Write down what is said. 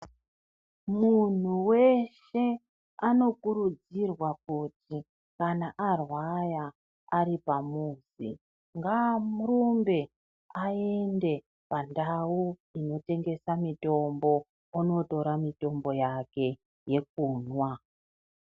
Munhu weshe anokurudzirwa kuti kana arwara ari pamuzi ngaarumbe aende pandau inotengesa mitombo onotora mitombo yake yekumwa.